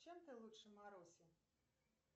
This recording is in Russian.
чем ты лучше маруси